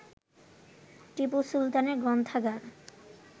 টিপু সুলতানের গ্রন্থাগার